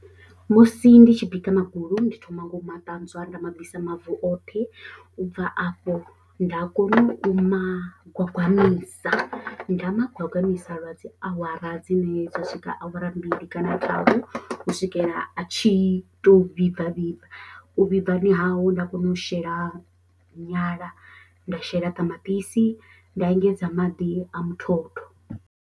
Musi ndi tshi bika magulu ndi thoma nga u ma ṱanzwa nda mabvisa mavu oṱhe u bva afho nda kona u magwagwamisa nda ma gwagwamisa lwa dzi awara dzine dza swika awara mbili kana tharu u swikela a tshi to vhibva vhibva, u vhibvani hau nda kona u shela nyala nda shela ṱamaṱisi nda engedza maḓi a muthotho.